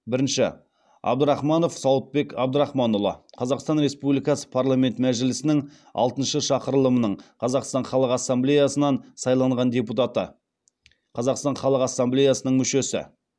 бірінші абдрахманов сауытбек абдрахманұлы қазақстан республикасы парламент мәжілісінің алтыншы шақырылымының қазақстан халық ассамблеясынан сайланған депутаты қазақстан халық ассамблеясы мүшесі